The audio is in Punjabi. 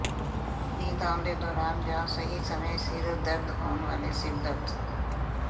ਨੀਂਦ ਆਉਣ ਦੇ ਦੌਰਾਨ ਜਾਂ ਸਹੀ ਸਮੇਂ ਸਿਰ ਦਰਦ ਹੋਣ ਵਾਲੇ ਸਿਰ ਦਰਦ